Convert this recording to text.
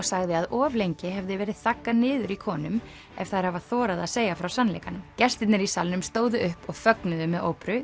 sagði að of lengi hefði verið þaggað niður í konum ef þær hafa þorað að segja frá sannleikanum gestirnir í salnum stóðu upp og fögnuðu með